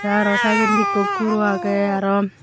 tey aro saidandi ikko guro agey aro.